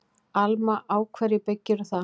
Alma: Á hverju byggirðu það?